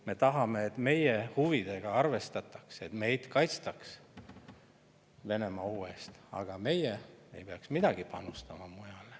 Me tahame, et meie huvidega arvestatakse, et meid kaitstakse Venemaa-ohu eest, aga meie ei peaks midagi panustama.